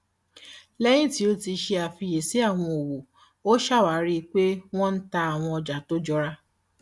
lẹyìn tí ó ṣe àfíyẹsí àwọn owó ó ṣàwárí pé wọn ń tà àwọn ọjà tó jọra